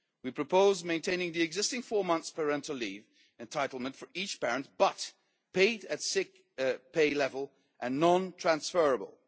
We propose maintaining the existing four months' parental leave entitlement for each parent, but paid at sick pay level and non transferable.